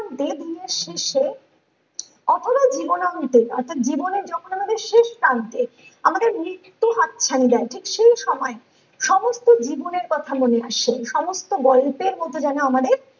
অন্তে দিনের শেষে অহর জীবন অন্তে অর্থ্যাৎ জীবনের যখন আমি শেষ প্রান্তে আমাদের মৃত্যু হাতছানি দেয় ঠিক সেই সময়ে সমস্ত জীবনের কথা মনে আসে সমস্ত গল্পের মতো যেনো আমাদের